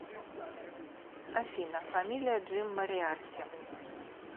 афина фамилия джим мориарти